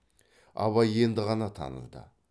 абай енді ғана таныды